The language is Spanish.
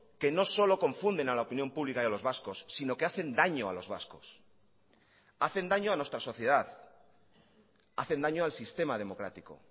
que no solo confunden a la opinión pública y a los vascos sino que hacen daño a los vascos hacen daño a nuestra sociedad hacen daño al sistema democrático